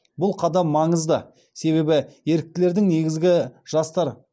бұл қадам маңызды себебі еріктілердің негізгі жастар